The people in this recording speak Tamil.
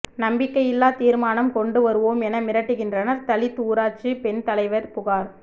நம்பிக்கையில்லா தீர்மானம் கொண்டு வருவோம் என மிரட்டுகின்றனர் தலித் ஊராட்சி பெண் தலைவர் புகார்